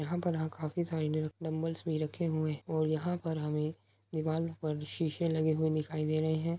यहाँ पर हाँ काफी सारे डंबल्स भी रखे हुए हैं और यहाँ पर हमें दीवाल पर शीशे लगे हुए दिखाई दे रहें हैं।